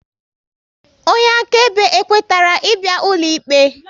Onye akaebe e kwetara ị bịa ụlọikpe?